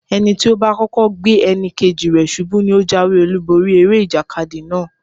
Ẹni tí ó bá kọ́kọ́ gbé ẹnì kejì rẹ̀ ṣubú ní ó jáwé-olúborí eré ìjàkadì náà.